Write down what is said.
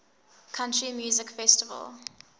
country music festival